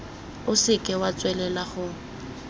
o seke wa tswelela go